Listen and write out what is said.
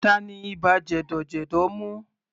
Tani ibà jẹ̀dọ̀jẹ̀dọ̀ mú?